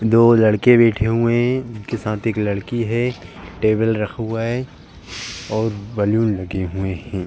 दो लड़के बैठे हुए हैं। उनके साथ एक लड़की है। टेबल रखा हुआ है और बलून लगे हुए हैं।